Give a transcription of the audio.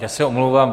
Já se omlouvám.